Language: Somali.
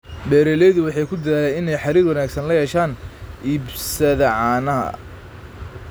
Beeraleydu waxay ku dadaalaan inay xiriir wanaagsan la yeeshaan iibsada caanaha.